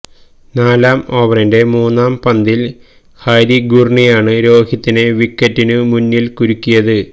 നാലാം ഓവറിന്റെ മൂന്നാം പന്തിൽ ഹാരി ഗുർണിയാണ് രോഹിതിനെ വിക്കറ്റിനു മുന്നിൽ കുരുക്കിയത്